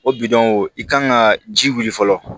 O bidɔn i kan ka ji wuli fɔlɔ